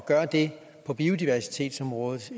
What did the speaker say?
gøre det på biodiversitetsområdet